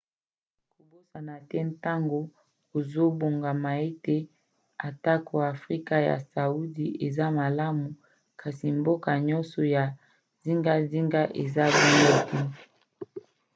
kobosana te ntango ozobongama ete atako afrika ya sudi eza malamu kasi bamboka nyonso ya zingazinga eza bongo te